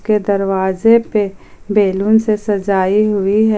के दरवाजे पे बैलून से सजाई हुई है।